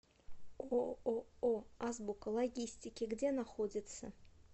ооо азбука логистики где находится